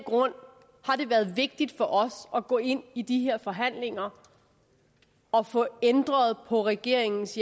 grund har det været vigtigt for os at gå ind i de her forhandlinger og få ændret på regeringens